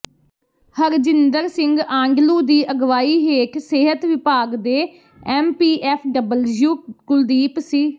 ਹਰਜਿੰਦਰ ਸਿੰਘ ਆਂਡਲੂ ਦੀ ਅਗਵਾਈ ਹੇਠ ਸਿਹਤ ਵਿਭਾਗ ਦੇ ਐਮਪੀਐਫ ਡਬਲਯੂ ਕੁਲਦੀਪ ਸਿ